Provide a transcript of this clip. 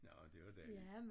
Nårh det var dejligt